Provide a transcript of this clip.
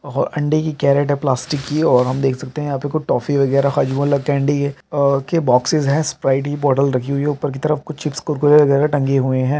और अंडे की कैरेट हैं प्लास्टिक की है और हम देख सकते हैं यहाँ पे कुछ टॉफी वगेरा हाजमोला कैंडी हैं और के बोक्सस हैं। स्प्राइट की बोतल रखी हुई हैं। ऊपर की तरफ कुछ चिप्स कुरकुरे वगेरा टंगे हुए हैं।